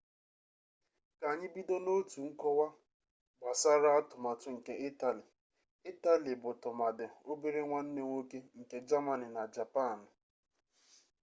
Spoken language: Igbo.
ka anyị bido n'otu nkọwa gnasara atụmatụ nke itali itali bụ tụmadị obere nwanne nwoke nke jamani na japanụ